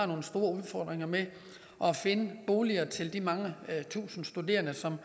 nogle store udfordringer med at finde boliger til de mange tusinde studerende som